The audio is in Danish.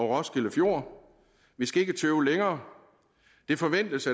roskilde fjord vi skal ikke tøve længere det forventes